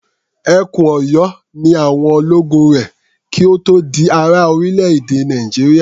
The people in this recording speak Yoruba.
Ẹkùn Ọ̀yọ́ ni àwọn ológun rẹ̀ kí ó tó di ara orílẹ̀-èdè Nàìjíríà.